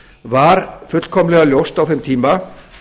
var fullkomlega ljóst á þeim tíma